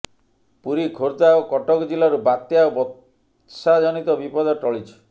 ପୁରୀ ଖୋର୍ଦ୍ଧା ଓ କଟକ ଜିଲ୍ଲାରୁ ବାତ୍ୟା ଓ ବର୍ଷାଜନିତ ବିପଦ ଟଳିଛି